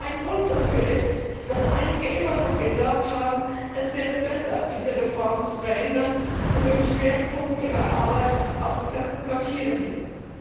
Ein Grund dafür ist, dass einige immer noch geglaubt haben, es wäre besser, diese Reform zu verhindern, und den Schwerpunkt ihrer Arbeit aufs Blockieren legen.